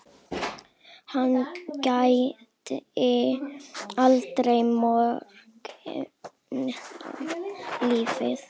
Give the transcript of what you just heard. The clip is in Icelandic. Hann gæddi alla morgna lífi.